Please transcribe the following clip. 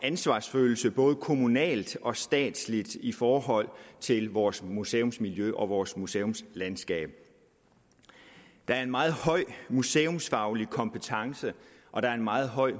ansvarsfølelse både kommunalt og statsligt i forhold til vores museumsmiljø og vores museumslandskab der er en meget høj museumsfaglig kompetence og der er en meget høj